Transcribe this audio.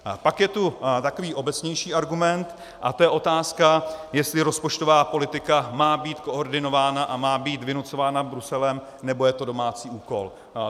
Pak je tu takový obecnější argument a to je otázka, jestli rozpočtová politika má být koordinována a má být vynucována Bruselem, nebo je to domácí úkol.